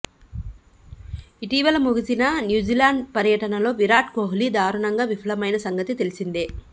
ఇటీవల ముగిసిన న్యూజిలాండ్ పర్యటనలో విరాట్ కోహ్లీ దారుణంగా విఫలమైన సంగతి తెలిసిందే